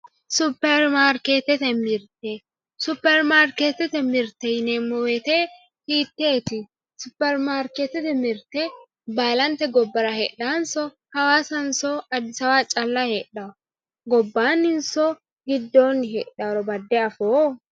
Supermarketete mirte supermarketete mirte yinemowoyite hiiteti msupermarketete mirte baalanye gobara hedhawonso hawassanso adis abebaho calla hedhano gonaninso gidooni hedhanoro bade afoo.